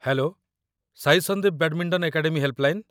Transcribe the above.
Hello ! Sai Sandeep badminton academy helpline